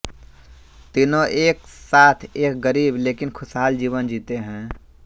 तीनों एक साथ एक गरीब लेकिन खुशहाल जीवन जीते हैं